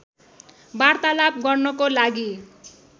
वार्तालाप गर्नको लागि